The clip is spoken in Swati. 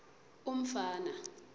umfana